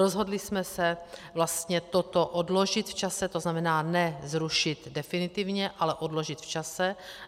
Rozhodli jsme se vlastně to odložit v čase, to znamená ne zrušit definitivně, ale odložit v čase.